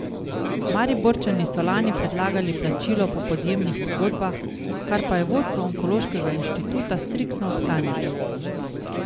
Mariborčani so lani predlagali plačilo po podjemnih pogodbah, kar pa je vodstvo Onkološkega inštituta striktno odklanjalo.